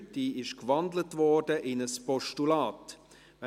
Diese wurde in ein Postulat gewandelt.